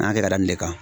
N'a kɛra nin de kan